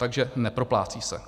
Takže neproplácí se.